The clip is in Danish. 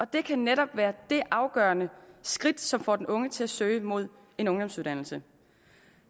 det kan netop være det afgørende skridt som får den unge til at søge mod en ungdomsuddannelse